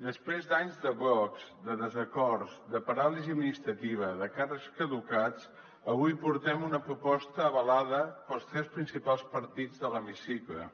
després d’anys de blocs de desacords de paràlisi administrativa de càrrecs caducats avui portem una proposta avalada pels tres principals partits de l’hemicicle